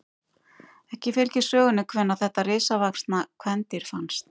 Ekki fylgir sögunni hvenær þetta risavaxna kvendýr fannst.